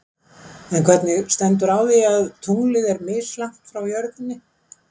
En hvernig stendur á því að tunglið er mislangt frá jörðinni?